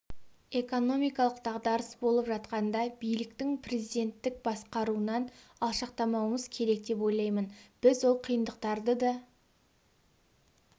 экономикалық дағдарыс болып жатқанда биліктің президенттік басқаруынан алшақтамауымыз керек деп ойлаймын біз ол қиындықтарды да